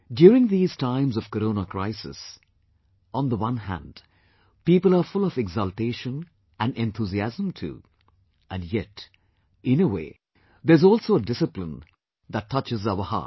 During these times of Corona crises, on the one hand people are full of exaltation and enthusiasm too; and yet in a way there's also a discipline that touches our heart